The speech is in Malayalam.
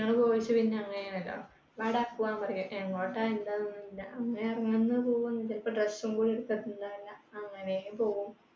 നിങ്ങൾ പോയിട്ട് പിന്നെ അങ്ങനെ വരാ. വാടാ പോകാം ന്നു പറയും. എങ്ങോട്ടാ എന്താന്നു ഒന്നുമില്ല. അങ്ങനെ ഇറങ്ങുന്നു പോകുന്നു. ചിലപ്പോൾ dress ഉം കൂടി എടുത്തിട്ടുണ്ടാവില്ല. അങ്ങനെ പോകും